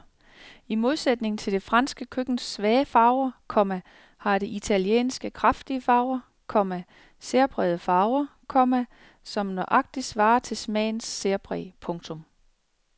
I modsætning til det franske køkkens svage farver, komma har det italienske kraftige farver, komma særprægede farver, komma som nøjagtigt svarer til smagens særpræg. punktum